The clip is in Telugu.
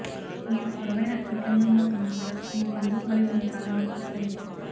మీరు పొడవైన వికర్ణంలో ఉన్నందున మీ పండ్లు మరియు మీ కాళ్ళను విస్తరించండి